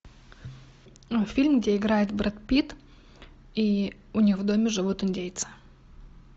фильм где играет брэд питт и у них в доме живут индейцы